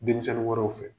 Denmisɛnnin wɛrɛw fɛ